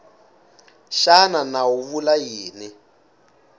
xana nawu wu vula yini